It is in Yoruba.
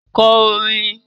Kọ orin!